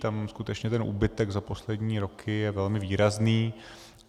Tam skutečně ten úbytek za poslední roky je velmi výrazný.